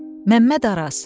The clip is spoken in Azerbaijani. Məmməd Araz.